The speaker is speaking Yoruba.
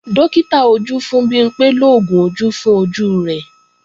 Dókítà ojú fún Bimpé lóògùn ojú fún ojú rẹ̀